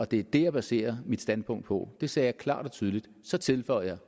det er det jeg baserer mit standpunkt på det sagde jeg klart og tydeligt så tilføjede